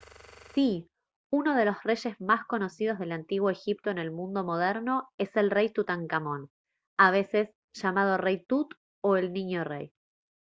¡sí! uno de los reyes más conocidos del antiguo egipto en el mundo moderno es el rey tutankamón a veces llamado «rey tut» o «el niño rey»